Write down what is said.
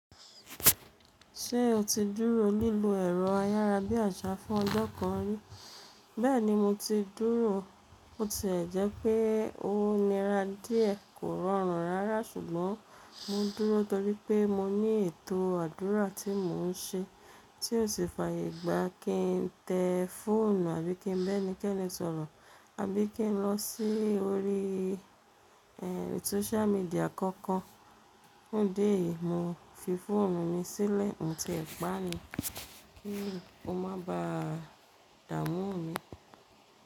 Ṣé o ti dúró lílọ ẹ̀rọ ayára bí àṣá fún ọjọ́ kan rí? Bẹ́ẹ̀ni mo ti dúró, ó ti ń jẹ́ pé ó nira díẹ̀, kò rọrùn rárá ṣùgbọ́n mo dúró torí pé mo ní ètò àdúrà tí mò ń ṣe tí ó sì fàyè gbá kí n tẹ fóònù àbí kí n bẹ́ ní kẹ́ni sọ̀rọ̀ àbí kí n lọ sí orí ẹ́, sóoṣú medíà kankan. Fun idi eyì mo fi fóònù mi sílẹ̀, mo ti ẹ̀ paá ni kí o má bà á dààmú mi.